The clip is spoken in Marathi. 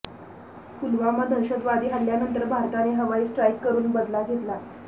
पुलवामा दहशतवादी हल्ल्यानंतर भारताने हवाई स्ट्राईक करून बदला घेतला